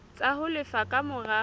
tsa ho lefa ka mora